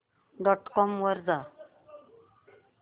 dot com वर जा